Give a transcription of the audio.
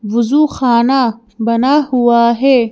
वजू खाना बना हुआ है।